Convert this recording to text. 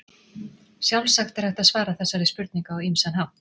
Sjálfsagt er hægt að svara þessari spurningu á ýmsan hátt.